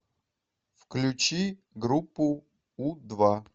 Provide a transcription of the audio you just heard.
включи группу у два